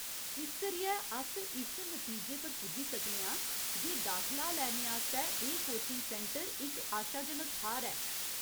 इस करियै, अस इस नतीजे पर पुज्जी सकने आं जे दाखला लैने आस्तै एह्‌‌ कोचिंग सैंटर इक आशाजनक थाह्‌‌‌र ऐ।